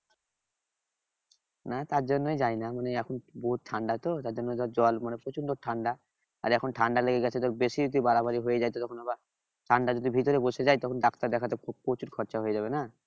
না তার জন্য যায়না মানে এখন বহুৎ ঠান্ডা তো তার জন্য ধর জল মানে প্রচন্ড ঠান্ডা আর এখন ঠান্ডা লেগে গেছে বেশি যদি বাড়াবাড়ি হয়ে যায় তাহলে আবার ঠান্ডা যদি ভিতরে বসে যায় তখন ডাক্তার দেখাতে প্রচুর খরচ হয়ে যাবে না?